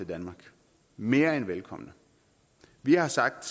danmark mere end velkomne vi har sagt